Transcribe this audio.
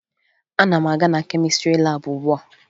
Ana m aga na kemịstrị laabụ ugbua